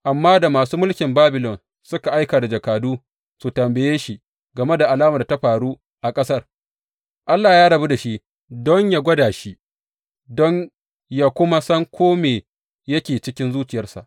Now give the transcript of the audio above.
Amma da masu mulkin Babilon suka aika da jakadu su tambaye shi game alamar da ta faru a ƙasar, Allah ya rabu da shi don yă gwada shi don yă kuma san kome da yake cikin zuciyarsa.